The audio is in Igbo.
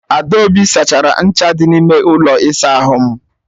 Adaobi sachara ncha dị n'ime ụlọ ịsa ahụ m.